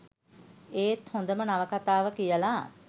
ඒත් හොදම නවකතාව කියලා